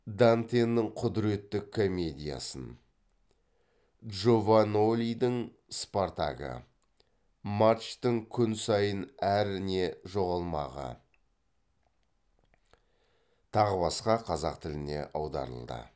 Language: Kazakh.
дантенің құдіретті комедиясын джованьолидің спартагі марчтің күн сайын әр не жоғалмағы тағы басқа қазақ тіліне аударылды